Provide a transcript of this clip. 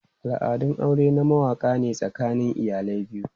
Al'adun aure na wakana ne tsakanin iyalai biyu.